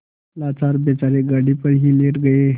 लाचार बेचारे गाड़ी पर ही लेट गये